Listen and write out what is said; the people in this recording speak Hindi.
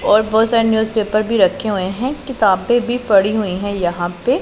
और बहोत सारे न्यूजपेपर भी रखे हुए है किताबे भी पड़ी हुई हैं यहां पे।